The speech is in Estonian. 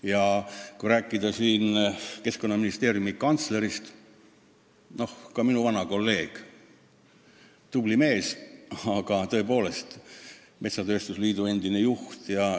Ja kui rääkida Keskkonnaministeeriumi kantslerist – ta on minu vana kolleeg, tubli mees, aga tõepoolest metsatööstusliidu endine juht.